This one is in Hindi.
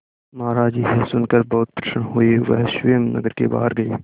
महाराज यह सुनकर बहुत प्रसन्न हुए वह स्वयं नगर के बाहर गए